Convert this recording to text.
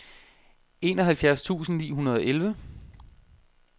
enoghalvfjerds tusind ni hundrede og elleve